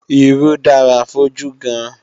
Irú dára fójú gan-an